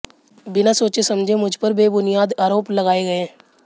बिना सोचे समझे मुझ पर बेबुनियाद आरोप लगाए गए